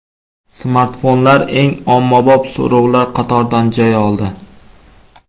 Smartfonlar eng ommabop so‘rovlar qatoridan joy oldi.